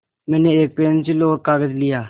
मैंने एक पेन्सिल और कागज़ लिया